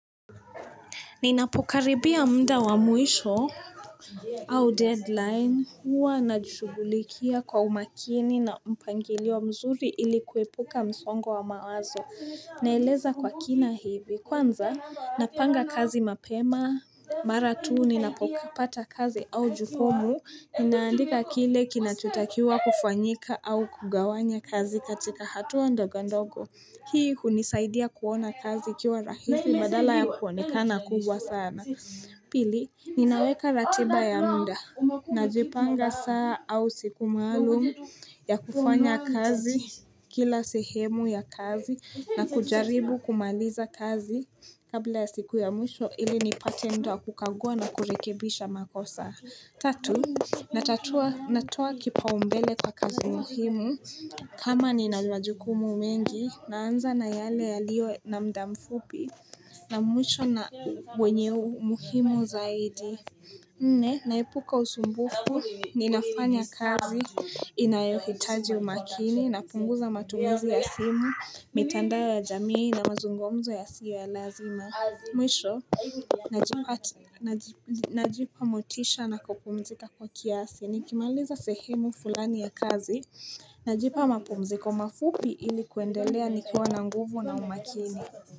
Ninapokaribia muda wa mwisho au deadline huwa najishugulikia kwa umakini na mpangilio mzuri ili kuepuka msongo wa mawazo. Naeleza kwa kina hivi kwanza napanga kazi mapema, mara tu ninapopata kazi au jukumu Ninaandika kile kinachotakiwa kufanyika au kugawanya kazi katika hatua ndogo ndogo Hii hunisaidia kuona kazi ikiwa rahisi badala ya kuonekana kubwa sana Pili, ninaweka ratiba ya muda Najipanga saa au siku maalum ya kufanya kazi Kila sehemu ya kazi na kujaribu kumaliza kazi Kabla ya siku ya mwisho ili nipate muda wa kukagua na kurekebisha makosa Tatu, natatua natoa kipaumbele kwa kazi muhimu, kama nina majukumu mengi, naanza na yale yalio na muda mfupi, na mwisho na wenye umuhimu zaidi. Nne, naepuka usumbufu, ninafanya kazi, inayohitaji umakini, napunguza matumizi ya simu, mitandao ya jamii na mazungomzo yasiyo ya lazima. Mwisho, najipa motisha na kupumzika kwa kiasi, nikimaliza sehemu fulani ya kazi, najipa mapumziko mafupi ili kuendelea nikiwa na nguvu na umakini.